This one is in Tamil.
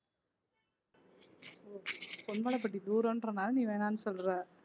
ஓ பொன்மலைப்பட்டி தூரம்ன்றனால நீ வேணாம்னு சொல்ற